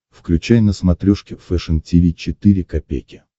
включай на смотрешке фэшн ти ви четыре ка